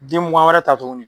Den mugan wɛrɛ ta tuguni.